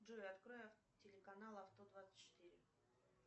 джой открой телеканал авто двадцать четыре